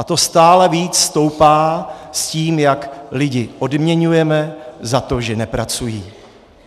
A to stále více stoupá s tím, jak lidi odměňujeme za to, že nepracují.